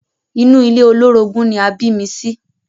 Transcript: Inú ilé olórogún ni a bí mi sí.